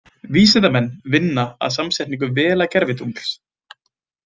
Vísindamenn vinna að samsetningu Vela-gervitungls.